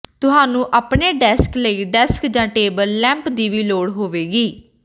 ਤੁਹਾਨੂੰ ਆਪਣੇ ਡੈਸਕ ਲਈ ਡੈਸਕ ਜਾਂ ਟੇਬਲ ਲੈਂਪ ਦੀ ਵੀ ਲੋੜ ਹੋਵੇਗੀ